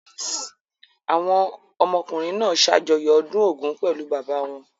Àwọn ọmọkùnrin náà ṣàjọyọ̀ ọdún Ògún pẹ̀lú bàbá wọn.